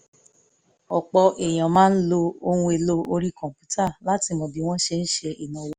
ọ̀pọ̀ èèyàn máa ń lo ohun èlò orí kọ̀ǹpútà láti mọ bí wọ́n ṣe ń ṣe ìnáwó